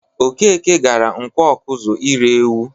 Okeke gara Nkwọ Ọkụzụ ire ewu.